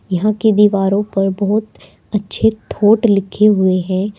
यहाँ की दीवारों पर बहुत अच्छे थॉट लिखे हुए हैं।